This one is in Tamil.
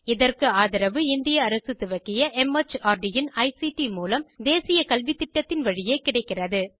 இதற்கு ஆதரவு இந்திய அரசு துவக்கிய மார்ட் இன் ஐசிடி மூலம் தேசிய கல்வித்திட்டத்தின் வழியே கிடைக்கிறது